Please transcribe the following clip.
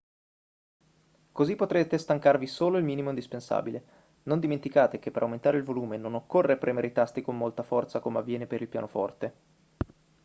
così potrete stancarvi solo il minimo indispensabile non dimenticate che per aumentare il volume non occorre premere i tasti con molta forza come avviene per il pianoforte